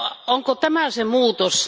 Onko tämä se muutos?